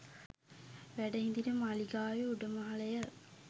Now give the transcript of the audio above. වැඩ හිඳින මාලිගාවේ උඩුමහල ය.